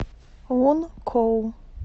лункоу